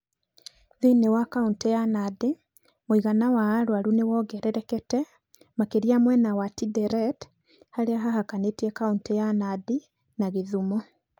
Thĩinĩ wa kaunti ya Nandi, mũigana wa arũaru nĩ wongererekete, makĩria mwena wa Tinderet, harĩa haikaranĩtie kaunti ya Nandi na gĩthumo.